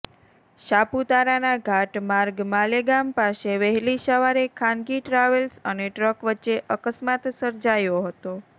સાપુતારાના ઘાટ માર્ગ માલેગામ પાસે વહેલી સવારે ખાનગી ટ્રાવેલ્સ અને ટ્રક વચ્ચે અકસ્માત સર્જાયો હતો